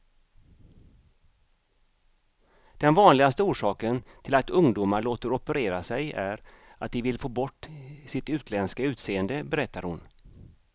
Den vanligaste orsaken till att ungdomar låter operera sig är att de vill få bort sitt utländska utseende, berättar hon.